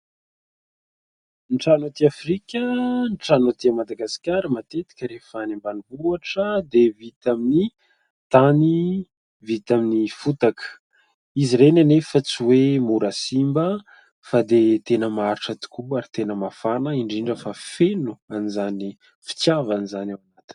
Ny trano aty Afrika ;ny trano aty Madagasikara matetika rehefa ny ambanivohitra dia vita amin'ny tany, vita amin'ny fotaka izy ireny nefa tsy hoe mora simba fa dia tena maharitra tokoa ary tena mafana indrindra fa feno an'izany fitavana izany ao anatiny.